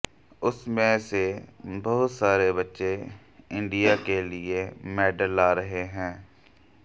उनमें से बहुत सारे बच्चे इंडिया के लिए मेडल ला रहे हैं